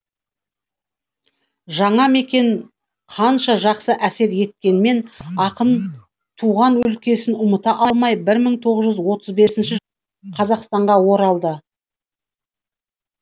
жаңа мекен қанша жақсы әсер еткенмен ақын туған өлкесін ұмыта алмай бір мың тоғыз жүз отыз бесінші жылы қазақстанға оралады